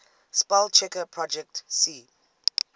spellchecker projet c